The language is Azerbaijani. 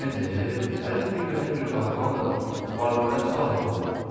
Evlənibdir, hərif milyonər bir qadın alıb var-dövlət sahibi olub.